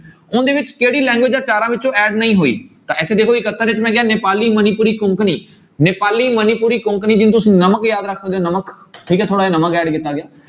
ਉਹਦੇ ਵਿੱਚ ਕਿਹੜੀ language ਇਹ ਚਾਰਾਂ ਵਿੱਚੋਂ add ਨਹੀਂ ਹੋਈ ਤਾਂ ਇੱਥੇ ਨੇਪਾਲੀ, ਮਨੀਪੁਰੀ, ਕੋਕਣੀ, ਨੇਪਾਲੀ, ਮਨੀਪੁਰੀ, ਕੋਕਣੀ ਜਿਵੇਂ ਤੁਸੀਂ ਨਮਕ ਯਾਦ ਰੱਖਦੇ ਹੋ ਨਮਕ ਠੀਕ ਹੈ ਥੋੜ੍ਹਾ ਜਿਹਾ ਨਮਕ add ਕੀਤਾ ਗਿਆ।